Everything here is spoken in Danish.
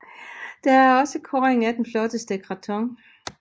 Der er også kåring af den flotteste krathong